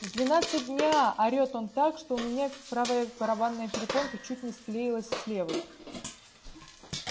в двенадцать дня орёт он так что у меня правая барабанная перепонка чуть ни склеилась с левой